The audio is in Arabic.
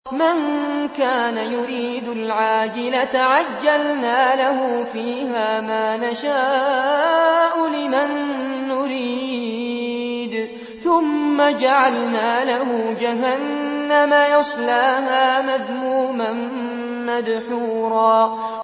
مَّن كَانَ يُرِيدُ الْعَاجِلَةَ عَجَّلْنَا لَهُ فِيهَا مَا نَشَاءُ لِمَن نُّرِيدُ ثُمَّ جَعَلْنَا لَهُ جَهَنَّمَ يَصْلَاهَا مَذْمُومًا مَّدْحُورًا